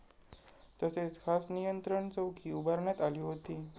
तसेच खास नियंत्रण चौकी उभारण्यात आली होती.